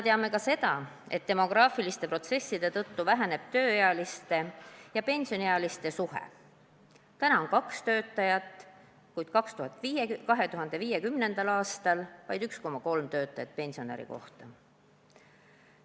Teame ka seda, et demograafiliste protsesside tõttu halveneb tööealiste ja pensioniealiste suhe: täna on kaks töötajat, kuid 2050. aastal vaid 1,3 töötajat pensionäri kohta.